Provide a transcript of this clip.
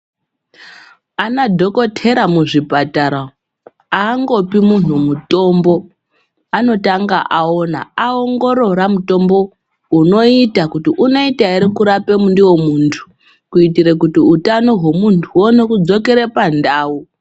Ana dhokotera muzvipatara angopi munhu mutombo, anotanga aona aongorora mutombo unoita kuti unoita ere kurape ndiwo muntu kuitira kuti utano hwemuntu huone kudzokera pandau.